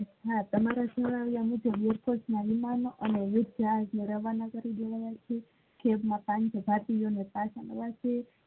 હા તમારા સરવાળા મુજબ વિમાન માં રવાના કરી દેવામાં આવિયા છે પાનસો જાતિ કરવા માં આવિયા છે.